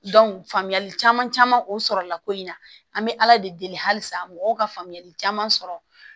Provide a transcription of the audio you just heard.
faamuyali caman caman o sɔrɔla ko in na an be ala de deli halisa mɔgɔw ka faamuyali caman sɔrɔ